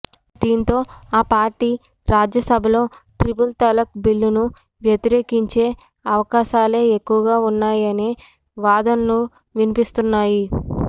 దీంతో ఆ పార్టీ రాజ్యసభలో ట్రిపుల్ తలాక్ బిల్లును వ్యతిరేకించే అవకాశాలే ఎక్కువగా ఉన్నాయనే వాదనలు వినిపిస్తున్నాయి